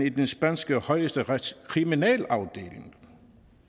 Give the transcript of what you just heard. i den spanske højesterets kriminalafdeling